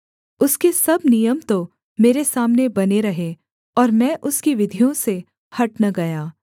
उसके सब नियम तो मेरे सामने बने रहे और मैं उसकी विधियों से हट न गया